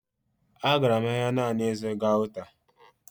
Agara m ahịa naanị ịzụrụ gauta